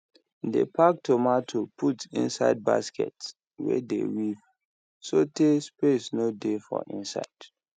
dey pack tomato put inside basket wey dey weave so tay space no dey for inside